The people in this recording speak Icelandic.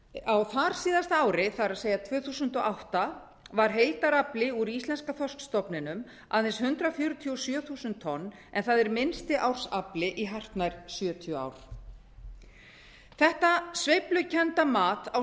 á þarsíðasta ári það er tvö þúsund og átta var heildarafli úr íslenska þorskstofninum aðeins hundrað fjörutíu og sjö þúsund tonn en það er minnsti ársafli í hartnær sjötíu ár þetta sveiflukennda mat á